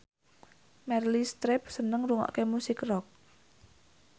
Meryl Streep seneng ngrungokne musik rock